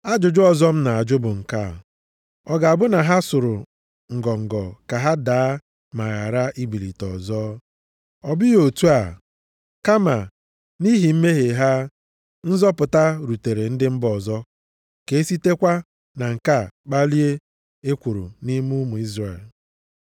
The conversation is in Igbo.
Ajụjụ ọzọ m na-ajụ bụ nke a: Ọ ga-abụ na ha sụrụ ngọngọ ka ha daa ma ghara ibilite ọzọ? Ọ bụghị otu a! Kama nʼihi mmehie ha, nzọpụta rutere ndị mba ọzọ ka e sitekwa na nke a kpalie ekworo nʼime ụmụ Izrel.